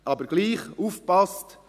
Aber doch: Aufgepasst!